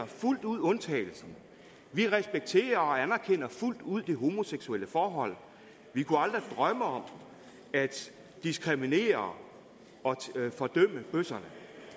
fuldt ud undtagelsen vi respekterer og anerkender fuldt ud det homoseksuelle forhold vi kunne aldrig drømme om at diskriminere og fordømme bøsserne